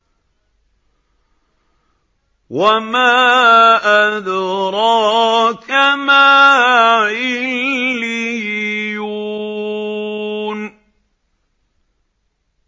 وَمَا أَدْرَاكَ مَا عِلِّيُّونَ